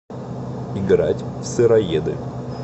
играть в сыроеды